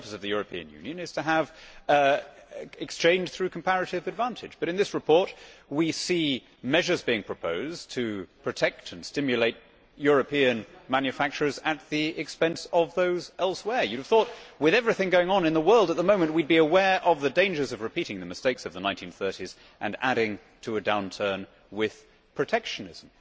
The purpose of the European Union is to have exchange through comparative advantage, but in this report we see measures being proposed to protect and stimulate European manufacturers at the expense of those elsewhere. You would have thought, with everything going on in the world at the moment, that we would be aware of the dangers of repeating the mistakes of the 1930s and adding to a downturn with protectionism.